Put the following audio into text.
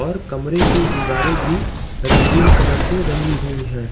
और कमरे की दीवारें भी रंगीन कलर से रंगी हुई हैं।